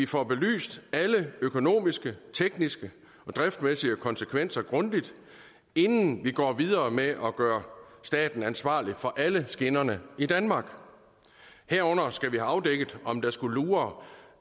får belyst alle økonomiske tekniske og driftsmæssige konsekvenser grundigt inden vi går videre med at gøre staten ansvarlig for alle skinnerne i danmark herunder skal vi have afdækket om der skulle lure